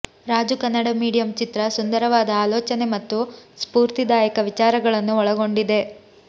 Raju Kannada medium ಚಿತ್ರ ಸುಂದರವಾದ ಆಲೋಚನೆ ಮತ್ತು ಸ್ಫೂರ್ತಿದಾಯಕ ವಿಚಾರಗಳನ್ನು ಒಳಗೊಂಡಿದೆ